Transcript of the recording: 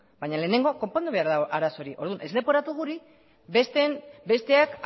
baina lehenengo konpondu behar da arazo hori orduan ez leporatu guri besteak